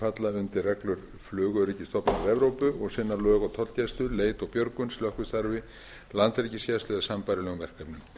falla undir reglur flugöryggisstofnana evrópu og sinna lög tollgæslu leit og björgun slökkvistarfi landhelgisgæslu og sambærilegum verkefnum